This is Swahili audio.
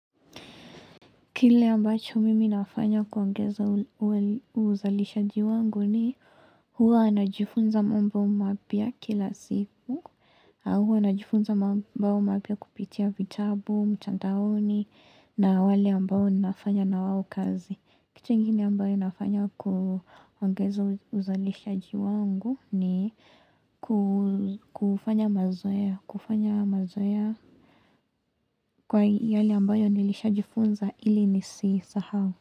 Kile ambacho mimi nafanya kuongeza uzalishaji wangu ni huwa najifunza mambo mwapya kila siku au huwa najifunza mambo mapya kupitia vitabu mtandaoni na wale ambao ninafanya na wao kazi Kitu ingine ambayo nafanya kuongeza uzalishaji wangu ni kufanya mazoea kwa hii hali ambayo nilisha jifunza ili nisisahau.